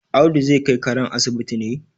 Audu zai kai karen asibiti ne?